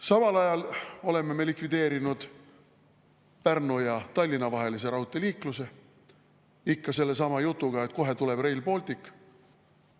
Samal ajal oleme me likvideerinud Pärnu ja Tallinna vahelise raudteeliikluse, ikka sellesama jutuga, et kohe tuleb Rail Baltic.